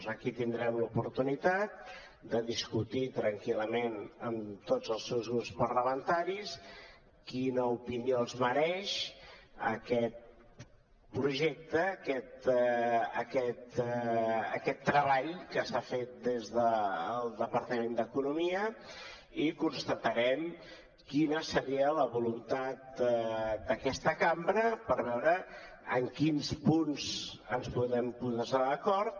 aquí tindrem l’oportunitat de discutir tranquil·lament amb tots els grups parlamentaris quina opinió els mereix aquest projecte aquest treball que s’ha fet des del departament d’economia i constatarem quina seria la voluntat d’aquesta cambra per veure en quins punts ens podem posar d’acord